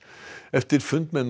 eftir fund með